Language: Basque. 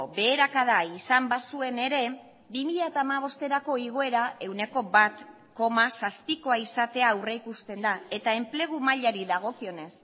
beherakada izan bazuen ere bi mila hamabosterako igoera ehuneko bat koma zazpikoa izatea aurrikusten da eta enplegu mailari dagokionez